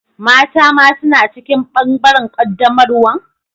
Mata ma suna cikin bangaren qaddamarwan?